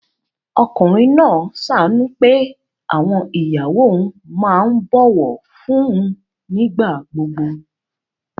Ọkùnrin náà ṣàánú pé àwọn ìyàwó òun máa ń bọ̀wọ̀ fún un nígbà gbogbo